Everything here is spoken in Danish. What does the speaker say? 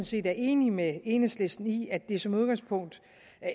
set er enig med enhedslisten i at det som udgangspunkt